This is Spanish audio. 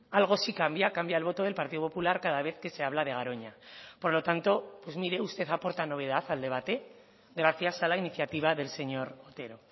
algo sí cambia cambia el voto del partido popular cada vez que se habla de garoña por lo tanto pues mire usted aporta novedad al debate gracias a la iniciativa del señor otero